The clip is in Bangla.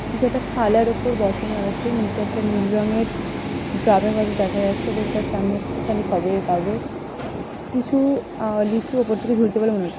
কিছু একটা থালার ওপর বসানো আছে নিচে একটা নীল রঙের ড্রাম - এর মতো দেখা যাচ্ছে এবং তার সামনে একটুখানি খবরের কাগজ কিছু আহ লিচু ওপর থেকে ঝুলছে বলে মনে হ--